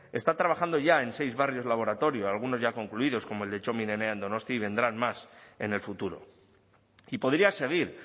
está trabajando ya en seis barrios laboratorio algunos ya concluidos como el de txomin enea en donosti y vendrán más en el futuro y podría seguir